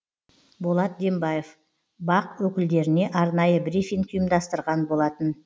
болат дембаев бақ өкілдеріне арнайы брифинг ұйымдастырған болатын